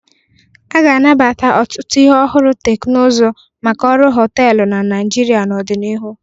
A ga-anabata ọtụtụ ihe ọhụrụ teknụzụ maka ọrụ họtelụ na Naịjirịa n'ọdịnihu.